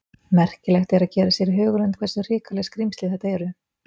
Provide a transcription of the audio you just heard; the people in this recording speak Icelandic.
Merkilegt er að gera sér í hugarlund hversu hrikaleg skrímsli þetta eru.